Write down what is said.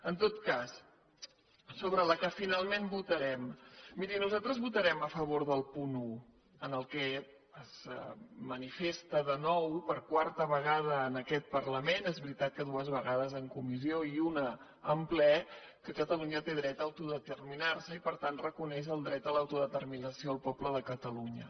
en tot cas sobre la que finalment votarem miri nosaltres votarem a favor del punt un en el qual es manifesta de nou per quarta vegada en aquest parlament és veritat que dues vegades en comissió i una en ple que catalunya té tret a autodeterminar se i per tant reconeix el dret a l’autodeterminació del poble de catalunya